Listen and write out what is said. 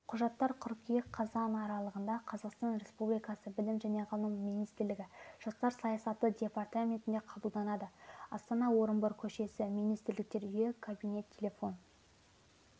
құжаттар қыркүйек қазан аралығындақазақстан республикасы білім және ғылым министрлігі жастар саясаты департаментінде қабылданады астана орынбор көшесі министрліктер үйі каб тел